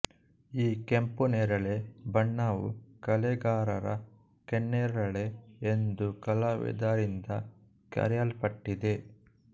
ಈ ಕೆಂಪುನೇರಳೆ ಬಣ್ಣವು ಕಲೆಗಾರರ ಕೆನ್ನೇರಳೆ ಎಂದು ಕಲಾವಿದರಿಂದ ಕರೆಯಲ್ಪಟ್ಟಿದೆ